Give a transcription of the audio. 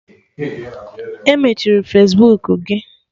E mechiri Fesbuku gị?